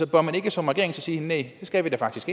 bør man ikke som regering så sige næh det skal vi da faktisk